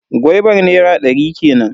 Gwaibar nera ɗari kenan.